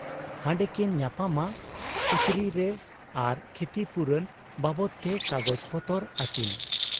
ᱦᱟᱸᱰᱮᱠᱤᱱ ᱧᱟᱯᱟᱢᱟ ᱠᱩᱪᱨᱤ ᱨᱮ ᱟᱨ ᱠᱷᱤᱛᱤᱯᱩᱨᱚᱱ ᱵᱟᱵᱚᱫᱽᱛᱮ ᱠᱟᱜᱚᱡᱽ ᱯᱚᱛᱚᱨ ᱟᱹᱠᱤᱱ ᱾